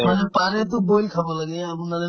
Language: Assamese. পাৰিলে পাৰিলেতো boil খাব লাগে আপোনাৰ